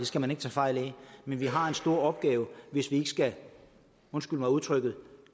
skal man ikke tage fejl af men vi har en stor opgave hvis vi ikke skal undskyld mig udtrykket